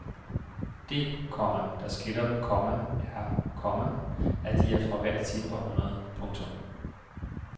Det, komma der skiller dem, komma er, komma at de er fra hvert sit århundrede. punktum